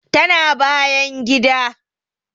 Tana bayan gida